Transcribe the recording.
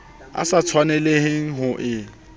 o sa tshwanelang ho e